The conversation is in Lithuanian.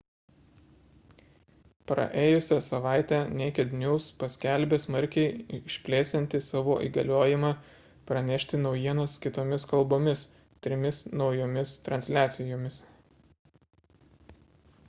praėjusią savaitę naked news paskelbė smarkiai išplėsianti savo įgaliojimą pranešti naujienas kitomis kalbomis trimis naujomis transliacijomis